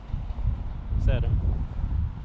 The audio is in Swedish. Särö